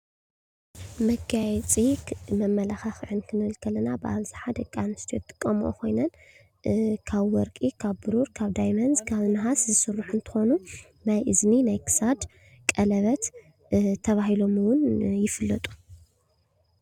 መጋየፂ መመላካክዕን ክንብል ከለና ብኣዛሓ ደቂ አንስትዮ ዝጥቀምኦ ኮይነን ካብ ወርቂ ፣ካብ ዳይመንድ፣ ካብ ነሓስ ዝስርሑ እንትኾኑ ናይ እዝኒ፣ ናይ ክሳድ፣ ቀለበት፣ ተባሂሎም እዉን ይፍለጡ።